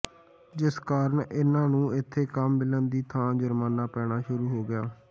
ਜਿਸ ਕਾਰਨ ਇਹਨਾਂ ਨੂੰ ਇੱਥੇ ਕੰਮ ਮਿਲਣ ਦੀ ਥਾਂ ਜੁਰਮਾਨਾ ਪੈਣਾ ਸ਼ੁਰੂ ਹੋ ਗਿਆ